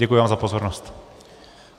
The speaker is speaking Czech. Děkuji vám za pozornost.